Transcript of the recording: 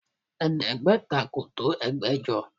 Ẹ̀ẹ́dẹ́gbẹ̀ta kò tó ẹgbẹ̀jọ